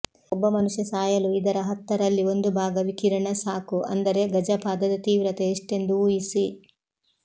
ಒಬ್ಬ ಮನುಷ್ಯ ಸಾಯಲು ಇದರ ಹತ್ತರಲ್ಲಿ ಒಂದು ಭಾಗ ವಿಕಿರಣ ಸಾಕು ಅಂದರೆ ಗಜಪಾದದ ತೀವ್ರತೆ ಎಷ್ಟೆಂದು ಊಹಿಸಿ